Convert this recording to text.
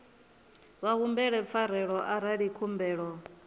vha humbele pfarelo arali khumbelo